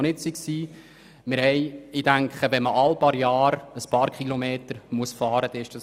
Ich denke, es ist mehr als vertretbar, wenn man alle paar Jahre einige Kilometer fahren muss.